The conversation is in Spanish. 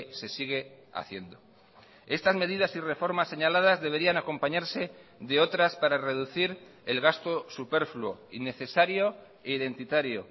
se sigue haciendo estas medidas y reformas señaladas deberían acompañarse de otras para reducir el gasto superfluo innecesario e identitario